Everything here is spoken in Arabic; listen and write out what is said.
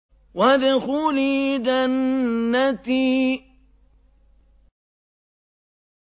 وَادْخُلِي جَنَّتِي